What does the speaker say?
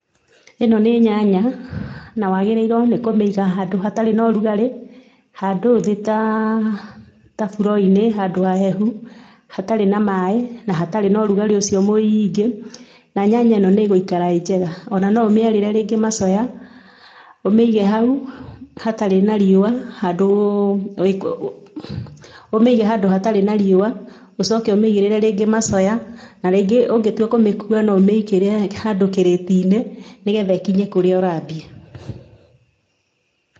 Ĩno nĩ nyanya na wagĩrĩirwo nĩ kũmĩiga handũ hatarĩ na ũrugarĩ, handũ thĩ taa, ta floor-inĩ handũ hahehu, hatarĩ na maaĩ na hatarĩ na ũrugarĩ ũcio mũingĩ na nyanya ĩno nĩ ĩgũikara ĩ njega. Ona no ũmĩarĩre rĩngĩ macoya, ũmĩige hau hatarĩ na riũa handũ wĩkũ, ũmĩige handũ hatarĩ na riũa ũcoke ũmĩigirĩre rĩngĩ macoya na rĩngĩ ũngĩtua kũmĩkua no ũmĩigĩre handũ kĩrĩti-inĩ nĩgetha ĩkinye kũrĩa ũrathiĩ.